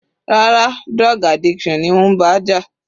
Rárá, drug addiction ni ó ń bá jà.